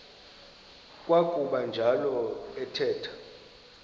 kwakuba njalo athetha